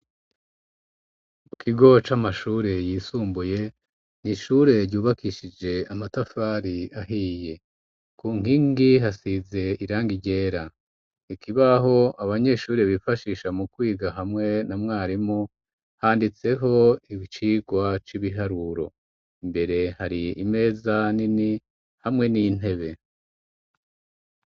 Mu kigo c'amashure yisumbuye, ni ishure ryubakishije amatafari ahiye. Ku nkingi hasize irangi ryera. Ikibaho abanyeshuri bifashisha mu kwiga hamwe na mwarimu, handitseho icigwa c'ibiharuro. Imbere hari imeza nini, hamwe n'intebe.